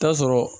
Taa sɔrɔ